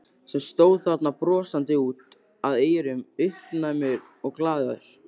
Sem stóð þarna brosandi út að eyrum, uppnæmur og glaður.